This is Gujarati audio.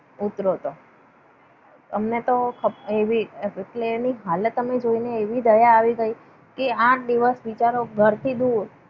ઉતર્યો તો આમને તો એવી હાલત અમે જોઈને એવી દયા આવી ગઈ. કે આઠ દિવસ બિચારો ઘરથી દૂર.